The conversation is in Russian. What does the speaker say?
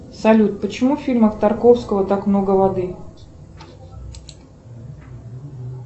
салют почему в фильмах тарковского так много воды